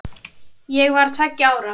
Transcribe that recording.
Ég var tveggja ára.